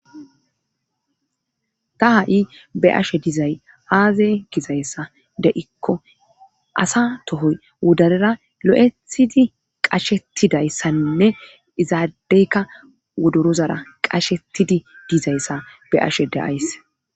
ta ha'i be'ashe dizay aazay gizayssa de7ikko asa tohoy wodarera lo'ethidi qashetidayssainne izaadeykka wodorozara qashetidi dizayssa be'ashe da'ays